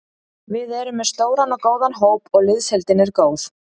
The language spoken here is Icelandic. Við erum með stóran og góðan hóp og liðsheildin er góð.